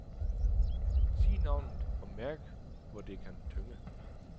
Sig navnet, og mærk hvor det kan tynge.